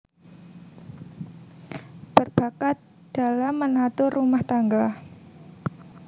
Berbakat dalam menatur rumah tangga